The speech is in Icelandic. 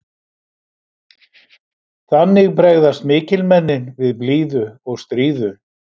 Þannig bregðast mikilmennin við blíðu og stríðu.